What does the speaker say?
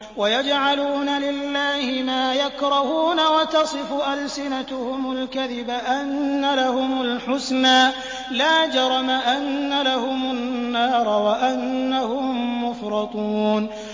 وَيَجْعَلُونَ لِلَّهِ مَا يَكْرَهُونَ وَتَصِفُ أَلْسِنَتُهُمُ الْكَذِبَ أَنَّ لَهُمُ الْحُسْنَىٰ ۖ لَا جَرَمَ أَنَّ لَهُمُ النَّارَ وَأَنَّهُم مُّفْرَطُونَ